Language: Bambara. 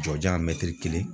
Jɔjan mɛtiri kelen